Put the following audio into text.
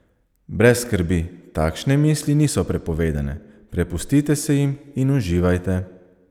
Brez skrbi, takšne misli niso prepovedane, prepustite se jim in uživajte!